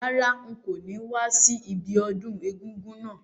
Rárá, n ko ni wa si ibiodún egúngún náà